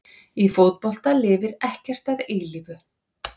Í fótbolta lifir ekkert að eilífu.